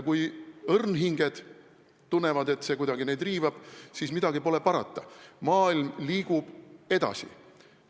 Kui õrnhinged tunnevad, et see neid kuidagi riivab, siis pole midagi parata, sest maailm liigub edasi.